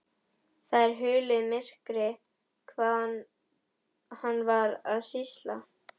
Það er hulið myrkri hvað hann var að sýsla.